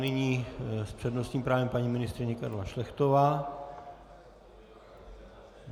Nyní s přednostním právem paní ministryně Karla Šlechtová.